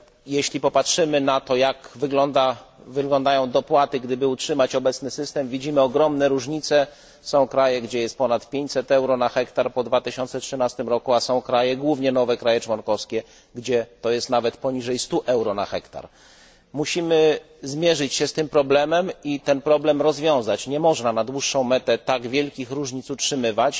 Jeśli popatrzymy na to, jak wyglądają dopłaty, gdyby utrzymać obecny system, widzimy ogromne różnice są kraje, gdzie jest ponad 500 euro na hektar po 2013 roku, a są kraje, głównie nowe kraje członkowskie, gdzie to jest nawet poniżej 100 euro na hektar. Musimy zmierzyć się z tym problemem i ten problem rozwiązać. Nie można na dłuższą metę tak wielkich różnic utrzymywać.